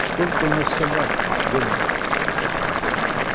сколько у нас собак генри